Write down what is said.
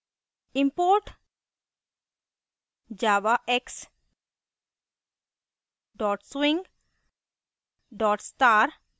import javax swing *;